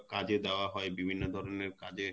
কাজে দেওয়া হয় বিভিন্ন ধরনের কাজে